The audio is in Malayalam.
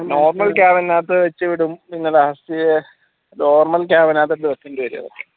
normal cabin അകത്ത് വെച്ചുവിടും normal cabin